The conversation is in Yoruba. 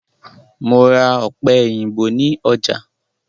Mo ra ọ̀pẹ-òyìnbó ní ọjà.